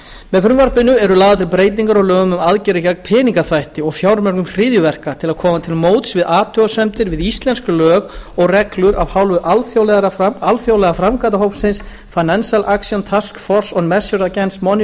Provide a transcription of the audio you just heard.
með frumvarpinu eru lagðar til breytingar á lögum um aðgerðir gegn peningaþvætti og fjármögnun hryðjuverka til að koma til móts við athugasemdir við íslensk lög og reglur af hálfu alþjóðlega framkvæmdahópsins financial action task force on measures against money laundering sem fóstraður er af o